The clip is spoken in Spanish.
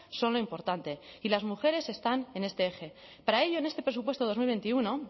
son lo importante y las mujeres están en este eje para ello en este presupuesto dos mil veintiuno